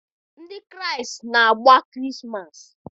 Ndị Kraịst na-agba Krismas.